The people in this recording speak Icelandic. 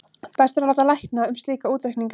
best er að láta lækna um slíka útreikninga